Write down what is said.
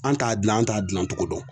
An t'a gilan an t'a gilan cogo dɔn.